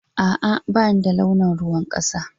A, a bani da launin ruwan kasa